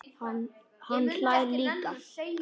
Hann hlær líka.